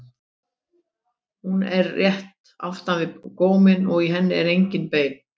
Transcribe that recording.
Hún er rétt aftan við góminn og í henni eru engin bein.